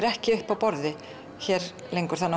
ekki uppi á borði hér lengur